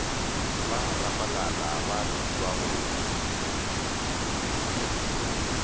ba rapalala ba šitwa go